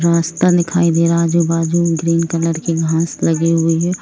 रास्ता दिखाई दे रहा है आजु बाजु ग्रीन कलर की घास लगी हुई है।